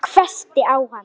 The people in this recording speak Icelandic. Hún hvessti á hann augun.